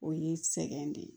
O ye sɛgɛn de ye